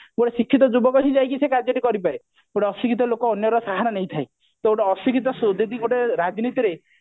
ଗୋଟେ ଶିକ୍ଷିତ ଯୁବକ ହିଁ ଯାଇକି ସେ କାର୍ଯ୍ୟ ଟି କରିପାରେ ଗୋଟେ ଅଶିକ୍ଷିତ ଲୋକ ଅନ୍ୟର ସାହାରା ନେଇଥାଏ ତ ଗୋଟେ ଅଶିକ୍ଷିତ ଯଦି ଗୋଟେ ରାଜନୀତିରେ